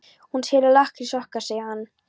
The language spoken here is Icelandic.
Hún selur lakkrísinn okkar, segir hann.